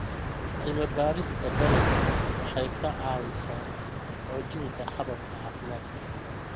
Cilmi-baarista dalagga waxay ka caawisaa xoojinta hababka caafimaadka.